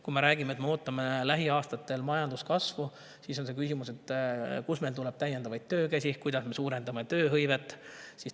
Kui me räägime, et me ootame lähiaastatel majanduskasvu, siis on küsimus, kust meil tuleb täiendavaid töökäsi, kuidas me suurendame tööhõivet.